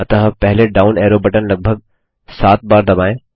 अतः पहले down arrow button लगभग सात बार दबाएँ